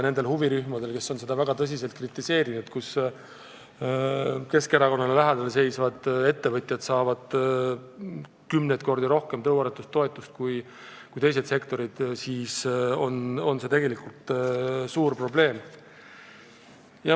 Nende huvirühmade jaoks, kes on väga tõsiselt kritiseerinud, et Keskerakonnale lähedal seisvad ettevõtjad saavad kümneid kordi rohkem tõuaretustoetust kui teised sektorid, on see suur probleem.